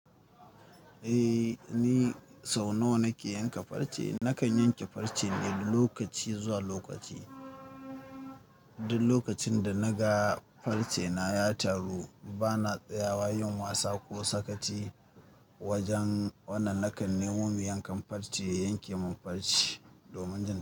Ni sau nawa nake yanke farce. Nakan yanke farce ne lokaci zuwa lokaci. Duk lokacin danaga farce na ya taru, ba na tsayawa yin wasa ko sakaci wajen wannan. Nakan nemo me yankan farce, ya yanke min farce domin jin.